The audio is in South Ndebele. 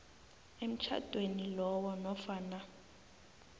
emtjhadweni lowo nofana